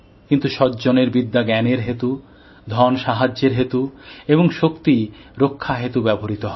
কিন্তু সজ্জনের বিদ্যা জ্ঞানের হেতু ধন সাহায্যের জন্য এবং শক্তি রক্ষার হেতু ব্যবহৃত হয়